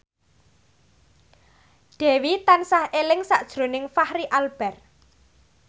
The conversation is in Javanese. Dewi tansah eling sakjroning Fachri Albar